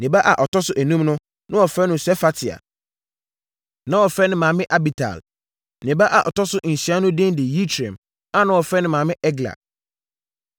Ne ba a ɔtɔ so enum no, na wɔfrɛ no Sefatia. Na wɔfrɛ ne maame Abital. Ne ba a ɔtɔ so nsia no din de Yitream a na wɔfrɛ ne maame Egla.